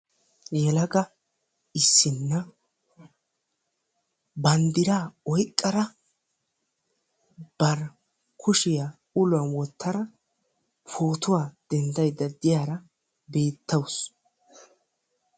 yelaga issinna banddiraa oyqqada bari kushiyaa uluwan wottada pootuwaa denddaydda diyaara beettawusu.